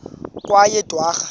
kweyedwarha